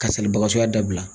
Ka salibatɔya dabila.